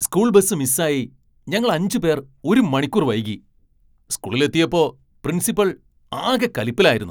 School bus മിസ്സായി ഞങ്ങൾ അഞ്ച് പേർ ഒരു മണിക്കൂർ വൈകി സ്കൂളിൽ എത്തിയപ്പോ പ്രിൻസിപ്പൽ ആകെ കലിപ്പിലായിരുന്നു.